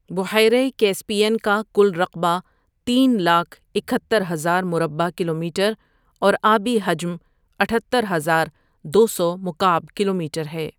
بحیرہ کیسپیئن کا کل رقبہ تین لاکھ اکہترہزار مربع کلومیٹر اور آبی حجم اتھتر ہزار دو سو مکعب کلومیٹر ہے ۔